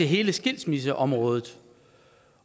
hele skilsmisseområdet